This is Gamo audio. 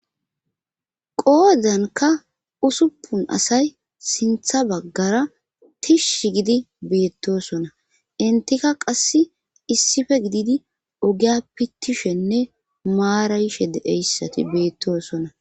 qoodanka usuppun asay sintha baggara tish gidi beettosona intika qass issife gididi ogiya pittishenne maarayishe deeyssati beettoosona